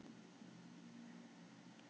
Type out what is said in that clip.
Heimildir og myndir: Magnús Már Kristjánsson.